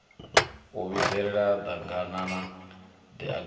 u vhidzelela ḓaganana ḓ aganana